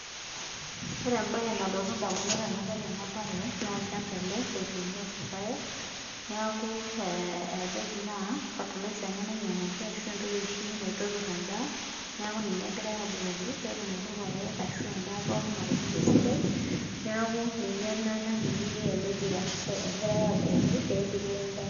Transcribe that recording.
Ore embae nalotu indamunot enadol ena bae naa olchamba ele otuunoki irpaek neeku naa fertilizer ena nainyang'waki ashu entoki oshi naitopirr endaa neaku ninye egirai abukoki peetumoki irpaek ashu endaa pookin atubulu aitobiraki neeku ninye ena natii orpira. Egirai aabukoki peepiru endaa